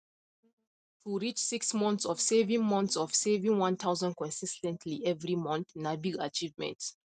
to reach six monts of saving monts of saving 1000 consis ten tly every mont na big achievement